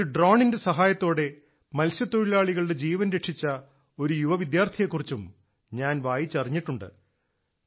ഒരു ഡ്രോണിന്റെ സഹായത്തോടെ മത്സ്യത്തൊഴിലാളികളുടെ ജീവൻ രക്ഷിച്ച ഒരു യുവ വിദ്യാർത്ഥിയെക്കുറിച്ചും ഞാൻ വായിച്ചറിഞ്ഞിട്ടുണ്ട്